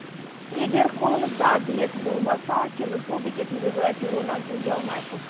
егер қолыңызда билет болмаса теміржол бекетіндегі перроннан өте алмайсыз